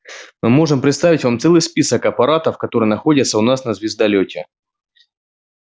мы можем представить вам целый список аппаратов которые находятся у нас на звездолёте